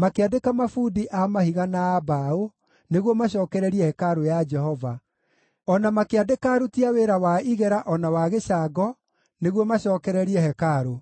Makĩandĩka mabundi a mahiga na a mbaũ nĩguo macookererie hekarũ ya Jehova, o na makĩandĩka aruti a wĩra wa igera o na a gĩcango nĩguo macookererie hekarũ.